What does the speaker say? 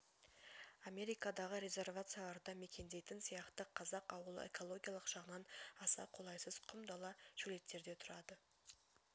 америкадағы резервацияларда мекендейткн сияқты қазақ ауылы экологиялық жағынан аса қолайсыз құм дала шөлейттерде тұрады